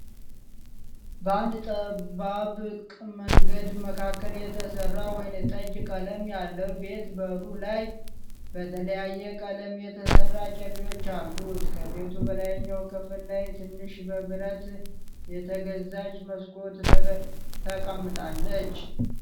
በአንድ ጠባብቅ መንገድ መካከል የተሰራ ወይነጠጅ ቀለም ያለው ቤት በሩ ላይ በተለያየ ቀለም የተሰራ ጨሌዎች አሉት። ከቤቱ በላይኛው ክፍል ላይ ትንሽ በብረት የተገዛች መስኮት ተቀምጣለች።